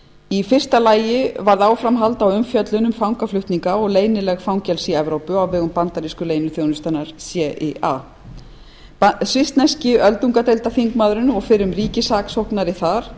í fyrsta lagi varð áframhald á umfjöllun um fangaflutninga og leynileg fangelsi í evrópu á vegum bandaríski leyniþjónustunnar cia svissneski öldungadeildarþingmaðurinn og fyrrum ríkissaksóknari